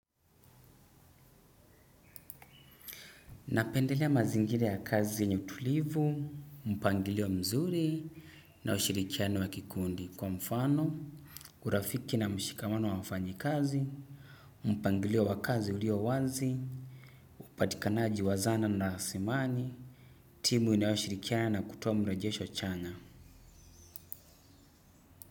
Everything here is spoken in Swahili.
Napendelea mazingira ya kazi yenye utulivu, mpangilio mzuri na ushirikiano wa kikundi. Kwa mfano, urafiki na mshikamano wa wafanyikazi, mpangilio wa kazi ulio wazi, upatikanaji wa zana na asimani, timu inayoshirikiana na kutoa mrejesho chanya.